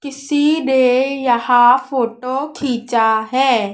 किसी नें यहां फोटो खींचा है।